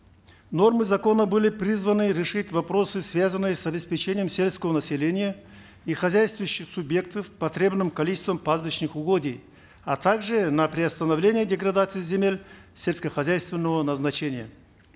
нормы закона были призваны решить вопросы связанные с обеспечением сельского населения и хозяйствующих субъектов потребным количеством пастбищных угодий а также на приостановление деградации земель сельскохозяйственного назначения